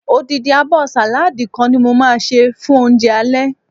odindi abo saladi kan ni mo ma se fun ounje ale